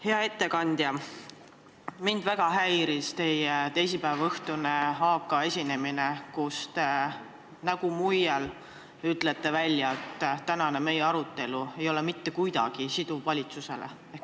Hea ettekandja, mind väga häiris teie teisipäevaõhtune esinemine AK-s, kus te, nägu muigvel, ütlesite välja, et meie tänane arutelu ei ole valitsusele mitte kuidagi siduv.